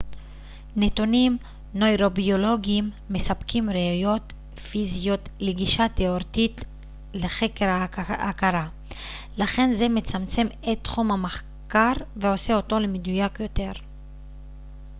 נתונים נוירוביולוגיים מספקים ראיות פיזיות לגישה תאורטית לחקר ההכרה לכן זה מצמצם את תחום המחקר ועושה אותו למדויק יותר